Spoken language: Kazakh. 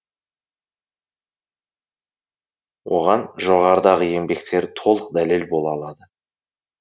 оған жоғарыдағы еңбектері толық дәлел бола алады